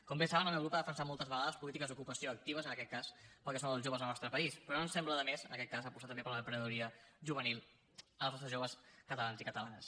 com bé saben el meu grup ha defensat moltes vegades polítiques d’ocupació actives en aquest cas per al que són els joves del nostre país però no ens sembla de més en aquest cas apostar també per l’emprenedoria juvenil dels nostres joves catalans i catalanes